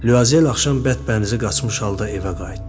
Lyuazel axşam bərbənizi qaçmış halda evə qayıtdı.